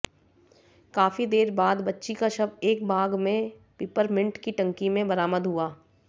काफी देर बाद बच्ची का शव एक बाग में पिपरमिंट की टंकी में बरामद हुआ